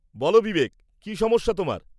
বলো বিবেক, কী সমস্যা তোমার?